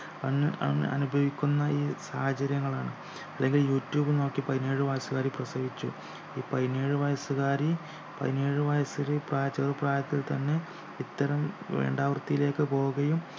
അന് അനു അനുഭവിക്കുന്ന ഈ സാഹചര്യങ്ങളാണ് അല്ലെങ്കി യൂട്യൂബ് നോക്കി പതിനേഴു വയസുകാരി പ്രസവിച്ചു ഈ പതിനേഴു വയസുകാരി പതിനേഴു വയസിലെ ചെറു പ്രായത്തിൽ തന്നെ ഇത്തരം വേണ്ടാവൃത്തിയിലേക്കു പോകുകയും